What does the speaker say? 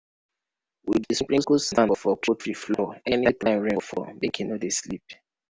we dey sprinkle sand for poultry floor anytime rain fall make e no dey slip.